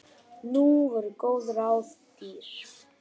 Nú voru góð ráð dýr